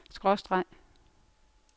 skråstreg